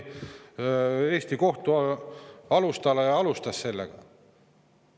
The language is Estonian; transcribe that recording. Bornhöhe oli Eesti kohtu alustala ja alustas sellega.